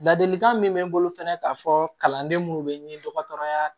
Ladilikan min bɛ n bolo fɛnɛ k'a fɔ kalanden minnu bɛ dɔgɔtɔrɔya